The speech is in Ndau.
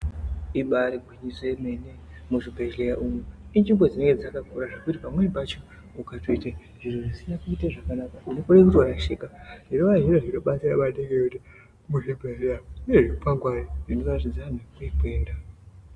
ibari gwinyiso remene muzvibhelya umu inzvimbo dzinenge dzakakura zvekuti pamweni pacho ukatoite zviro zvisina kuite zvakanaka unokone kutorashika zvinova zviro zvinobatsira maningi ngekuti muzvibhehleya mune zvikwangwari zvinoratidza anhu kwaarikuenda.